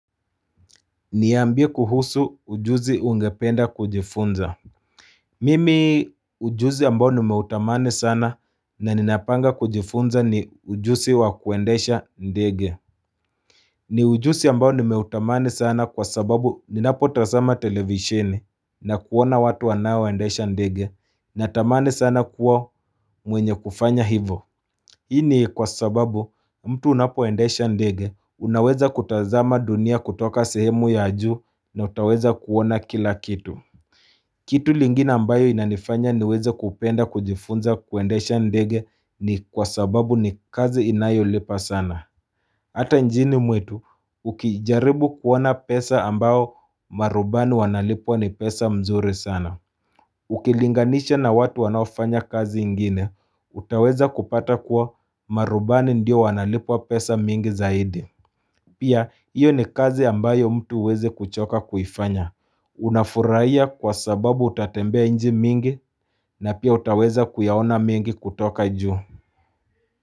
Niambie kuhusu ujuzi ungependa kujifunza Mimi ujuzi ambao nimeutamani sana na ninapanga kujifunza ni ujuzi wa kuendesha ndege ni ujuzi ambao nimeutamani sana kwa sababu ninapo tazama televisheni na kuona watu wanao endesha ndege na tamani sana kuwa mwenye kufanya hivo Hii ni kwa sababu mtu unapo endesha ndege unaweza kutazama dunia kutoka sehemu ya juu na utaweza kuona kila kitu kitu lingine ambayo inanifanya niweza kupenda kujifunza kuendesha ndege ni kwa sababu ni kazi inayolipa sana Hata njini mwetu ukijaribu kuona pesa ambao marubani wanalipwa ni pesa mzuri sana Ukilinganisha na watu wanaofanya kazi ingine, utaweza kupata kuwa marubani ndio wanalipiwa pesa mingi zaidi Pia, iyo ni kazi ambayo mtu uwezi kuchoka kuifanya Unafurahia kwa sababu utatembea inchi mingi na pia utaweza kuyaona mengi kutoka juu.